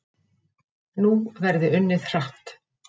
Nú verði unnið hratt